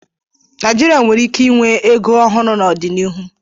Naịjịrịa nwere ike inwe ego ọhụrụ n'ọdịnihu.